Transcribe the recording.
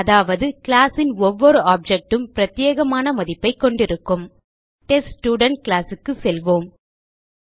அதாவது கிளாஸ் ன் ஒவ்வொரு ஆப்ஜெக்ட் உம் பிரத்யேகமான மதிப்பைக் கொண்டிருக்கும் டெஸ்ட்ஸ்டுடென்ட் classக்கு செல்வோம்